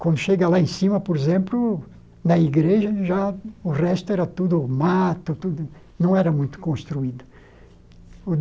Quando chega lá em cima, por exemplo, na igreja, já o resto era tudo mato tudo, não era muito construído.